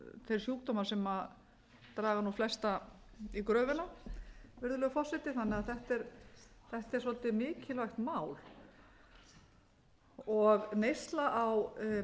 þeir sjúkdómar sem draga nú flesta í gröfina virðulegur forseti þannig að þetta er svolítið mikilvægt mál neysla á